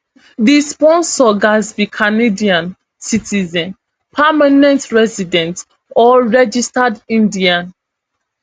di sponsor gatz be canadian citizen permanent resident or registered indian